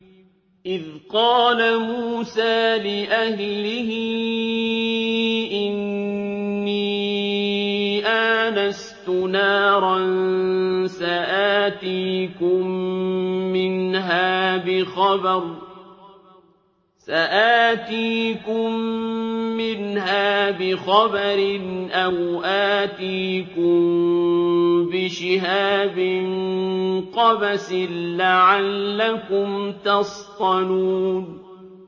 إِذْ قَالَ مُوسَىٰ لِأَهْلِهِ إِنِّي آنَسْتُ نَارًا سَآتِيكُم مِّنْهَا بِخَبَرٍ أَوْ آتِيكُم بِشِهَابٍ قَبَسٍ لَّعَلَّكُمْ تَصْطَلُونَ